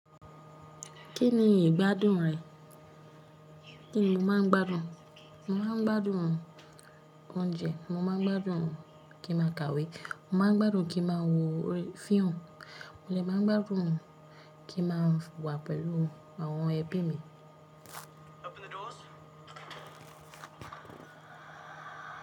Kí ni ìgbádùn rẹ̀? Kí ni mo máa ń gbádùn? Mo máa ń gbádùn oúnjẹ. Mo máa ń gbádùn kí n máa kàwé. Mo má ń gbádùn kí n máa wo fíìmù. Mo dẹ máa ń gbádùn kí n máa wà pẹ̀lú àwọn ẹbí mi.